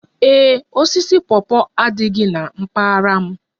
Ee e, osisi pawpaw adịghị na mpaghara m